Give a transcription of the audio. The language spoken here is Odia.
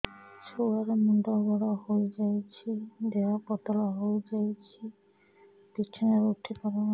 ଛୁଆ ର ମୁଣ୍ଡ ବଡ ହୋଇଯାଉଛି ଦେହ ପତଳା ହୋଇଯାଉଛି ବିଛଣାରୁ ଉଠି ପାରୁନାହିଁ